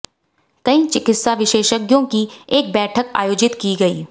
कई चिकित्सा विशेषज्ञों की एक बैठक आयोजित की गई